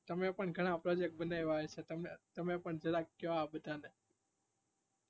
તમે પણ ઘણા project બનાયા હશે, તમે પણ કો જરાક આ બધાને